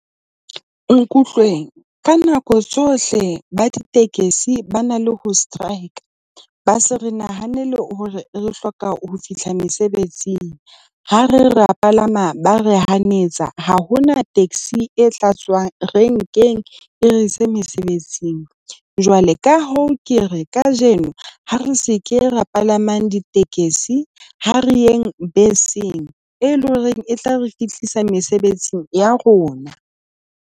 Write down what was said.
Nkutlweng, ka nako tsohle ba ditekesi ba na le ho strike-a, ba se re nahanele hore re hloka ho fihla mesebetsing. Ha re re rea palama, ba re hanetsa ha hona taxi e hlatswang renkeng e re se mesebetsing. Jwale ka hoo, ke re kajeno ha re se ke ra palamang ditekesi, ha re yeng beseng e leng hore e tla re fihlisa mesebetsing ya rona.